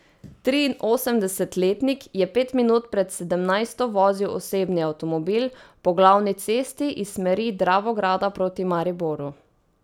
Triinosemdesetletnik je pet minut pred sedemnajsto vozil osebni avtomobil po glavni cesti iz smeri Dravograda proti Mariboru.